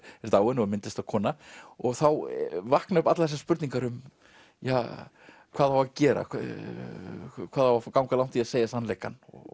er dáin og er myndlistarkona þá vakna upp allar þessar spurningar hvað á að gera hvað á að ganga langt í að segja sannleikann og